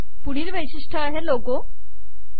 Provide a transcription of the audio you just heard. पुढील वैशिष्ट्य आहे लोगो